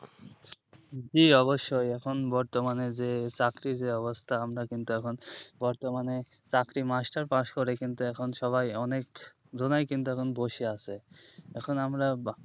জি অবশ্যই এখন বর্তমানে যে চাকরির যে অবস্থা আমার কিন্তু এখন বর্তমানে চাকরি master পাশ করে কিন্তু এখন সবাই অনেকজনাই কিন্তু এখন বসে আছে এখন আমরা